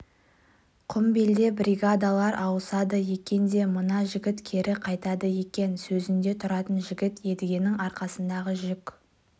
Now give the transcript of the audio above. құмбелде бригадалар ауысады екен де мына жігіт кері қайтады екен сөзінде тұратын жігіт едігенің арқасындағы жүк